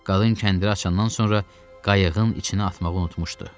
Qalın kəndiri açandan sonra qayıqın içinə atmağı unutmuşdu.